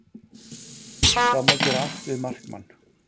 Það má gera allt við markmann